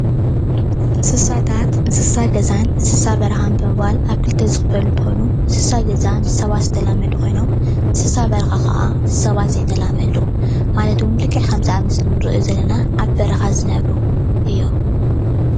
እንስሳታት ፤እንስሳ ገዛን እንስሳ በረኻን ተባሂሎም ኣብ ኽልተ ዝኽፈሉ እንትኾኑ እንስሳ ገዛ ምስ ሰባት ዝተላመዱ ኾይኖም እንስሳ በረኻ ኸዓ ምስ ሰባት ዘይተላመዱ ማለት ውን ልክዕ ከምዚ ኣብ ምስሊ እንሪኦ ዘለና ኣብ በረኻ ዝነብሩ እዮም።